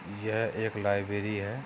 यह एक लाइबेरी है।